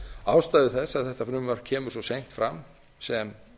ástæðu þess að þetta frumvarp kemur svo seint fram sem